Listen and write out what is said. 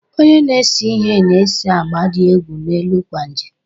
Onye na-ese ihe na-ese agba dị egwu n'elu kwaaji.